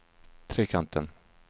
Trekanten